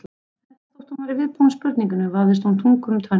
Enda þótt hún væri viðbúin spurningunni vafðist henni tunga um tönn.